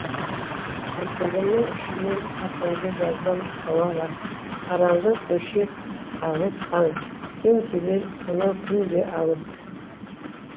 кірпігімнің ұшымен атыңды жазам ауаға қараңғы көше алыс таң сен келер сонау күн де алыс